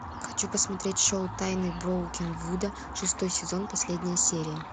хочу посмотреть шоу тайны броукенвуда шестой сезон последняя серия